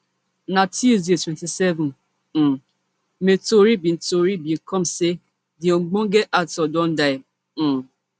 na tuesday twenty-seven um may tori bin tori bin come say di ogbonge actor don die um